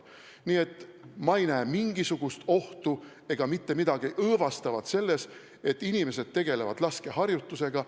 Nii et ma ei näe mingisugust ohtu ega mitte midagi õõvastavat selles, et inimesed tegelevad laskeharjutustega.